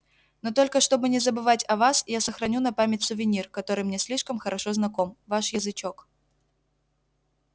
но только чтобы не забывать о вас я сохраню на память сувенир который мне слишком хорошо знаком ваш язычок